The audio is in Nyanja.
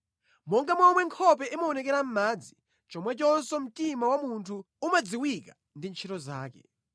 Monga momwe nkhope imaonekera mʼmadzi, chomwechonso mtima wa munthu umadziwika ndi ntchito zake.